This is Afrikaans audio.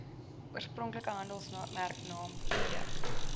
oorspronklike handelsmerknaam produk